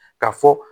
Ka fɔ